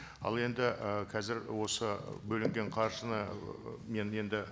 ал енді і қазір осы бөлінген қаржыны мен енді